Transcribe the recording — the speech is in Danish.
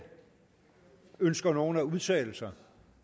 ønsker nogen at udtale sig